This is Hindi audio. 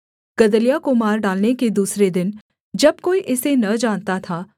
गदल्याह को मार डालने के दूसरे दिन जब कोई इसे न जानता था